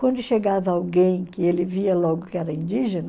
Quando chegava alguém que ele via logo que era indígena,